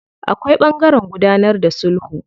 Akwai ɓangaren gudanar da sulhu.